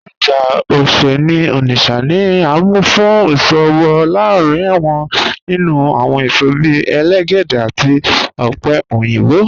Oja Ose ni Onitsha ni à mọ̀ fún iṣowo lárínrín wọn nínú awọn èṣọ bíì èlégédè àti ọpẹ̀ oyinbọ̀.